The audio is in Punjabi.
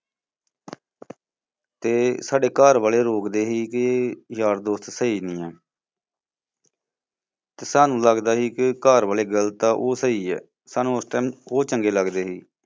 ਤੇ ਸਾਡੇ ਘਰ ਵਾਲੇ ਰੋਕਦੇ ਦੇ ਸੀ ਕਿ ਯਾਰ ਦੋਸਤ ਸਹੀ ਨੀ ਹੈ। ਤੇ ਸਾਨੂੰ ਲਗਦਾ ਸੀ ਕਿ ਘਰ ਵਾਲੇ ਗਲਤ ਹੈ ਉਹ ਸਹੀ ਹੈ। ਸਾਨੂੰ ਉਸ time ਉਹ ਚੰਗੇ ਲੱਗਦੇ ਸੀ।